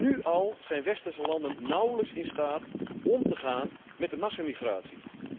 Nu al zijn westerse landen nauwelijks in staat om te gaan met de massamigratie.